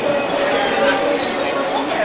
बहोत बड़े बड़े बिल्डिंग दिखाई पड़ रहे--